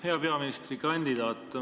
Hea peaministrikandidaat!